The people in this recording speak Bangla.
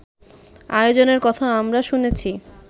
আয়োজনের কথা আমরা শুনেছি